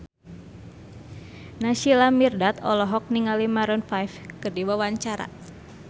Naysila Mirdad olohok ningali Maroon 5 keur diwawancara